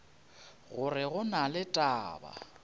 gore go na le taba